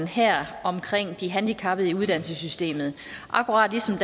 her omkring de handicappede i uddannelsessystemet akkurat ligesom